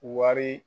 Wari